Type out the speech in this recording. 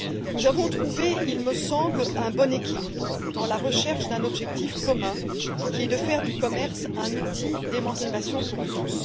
Nous avons trouvé, il me semble, un bon équilibre dans la recherche d'un objectif commun, qui est de faire du commerce un outil d'émancipation pour tous.